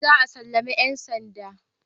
Za a sallami ‘yan sandan